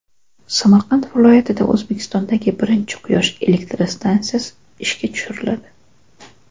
Samarqand viloyatida O‘zbekistondagi birinchi quyosh elektrostansiyasi ishga tushiriladi.